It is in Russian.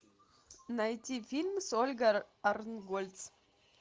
найти фильм с ольгой арнтгольц